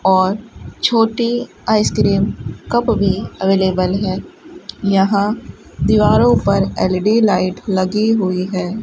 और छोटी ice cream cup भी अवेलेबल है यहां दीवारों पर एल_ई_डी लाइट लगी हुई है।